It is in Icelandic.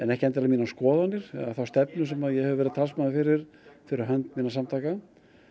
ekki endilega mínar skoðanir eða þá stefnu sem ég hef verið talsmaður fyrir fyrir hönd minna samtaka